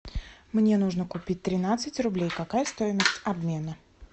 мне нужно купить тринадцать рублей какая стоимость обмена